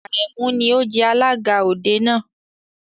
Àrẹ̀mú ni ó jẹ alága òde náà.